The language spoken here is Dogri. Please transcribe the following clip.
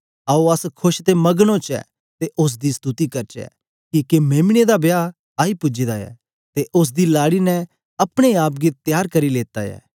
आओ अस खोश ते मग्न ओचै ते उस्स दी स्तुति करचै किके मेम्ने दा ब्याह आई पूजे दा ऐ ते उस्स दी लाड़ी ने अपने आप गी तेयार करी लेता ऐ